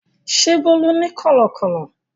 Ṣé Bólú ní kọ̀lọ̀kọ́lọ̀?